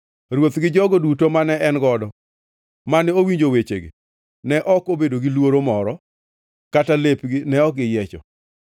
Ruoth gi jogo duto mane en godo mane owinjo wechegi ne ok obedo gi luoro moro, kata lepgi ne ok giyiecho.